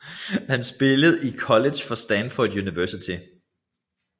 Han spillede i college for Stanford University